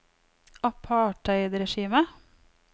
apartheidregimet